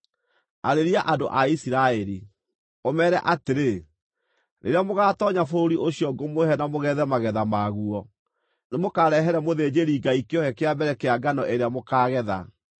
“Arĩria andũ a Isiraeli, ũmeere atĩrĩ: ‘Rĩrĩa mũgaatoonya bũrũri ũcio ngũmũhe na mũgethe magetha maguo, nĩmũkarehere mũthĩnjĩri-Ngai kĩohe kĩa mbere kĩa ngano ĩrĩa mũkaagetha.